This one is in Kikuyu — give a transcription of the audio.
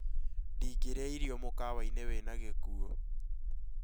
Ndingĩrĩa irio mũkawa-inĩ wĩna gĩkũ ũũ